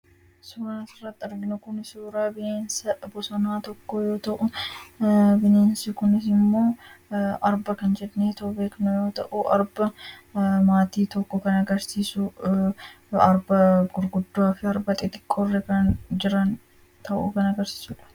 Suuraan asirratti arginu kun suuraa bineensa bosonaa tokkoo yoo ta'u, bineensi kunis ammoo arbaa kan jedhameeto beekamudha. Arba maatii tokko kan agarsiisu arba gurguddaafi arba xixiqqookan jiran kan agarsiisu kan ta'edha.